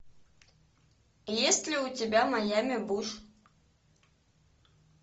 есть ли у тебя майами буш